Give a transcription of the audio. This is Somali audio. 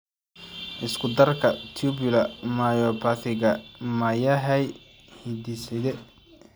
Isku darka tubular myopathiga ma yahay hidde-side?